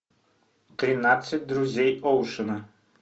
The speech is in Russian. тринадцать друзей оушена